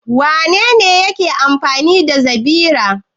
Wane ne ke amfani da zabira?